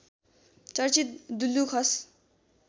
चर्चित दुल्लु खस